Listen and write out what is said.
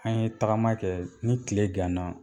An ye tagama kɛ ni tile ganna